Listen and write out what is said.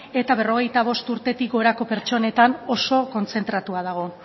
eta berrogeita bost urtetik gorako pertsonetan oso kontzentratua dago